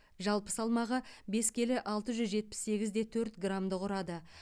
жалпы салмағы бес келі алты жүз жетпіс сегіз де төрт граммды құрады